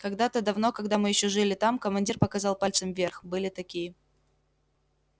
когда-то давно когда мы ещё жили там командир показал пальцем вверх были такие